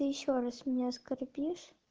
и ещё раз меня оскорбишь